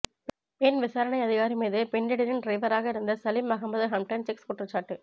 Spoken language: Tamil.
பெண் விசாரணை அதிகாரி மீது பின்லேடனின் டிரைவராக இருந்த சலிம் அகமது ஹம்டன் செக்ஸ் குற்றச்சாட்டு